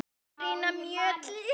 Petrína Mjöll þjónar.